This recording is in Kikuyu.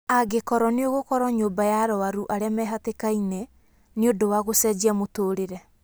"Angĩkorwo nĩ ũgũkorwo nyũmba ya arũaru arĩa mehatĩkainĩ, nĩ ũndũ wa gũcenjia mũtũrĩre.